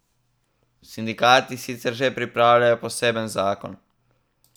Sindikati sicer že pripravljajo poseben zakon.